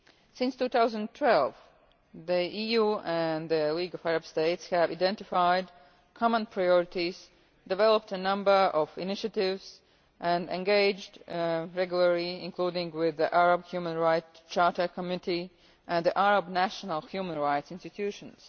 rights. Since 2012, the EU and the LAS have identified common priorities, developed a number of initiatives, and engaged regularly including with the Arab Human Rights Charter Committee and the Arab National Human Rights Institutions.